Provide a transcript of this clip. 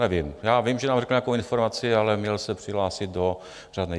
Nevím - já vím, že nám řekne nějakou informaci, ale měl se přihlásit do řádné.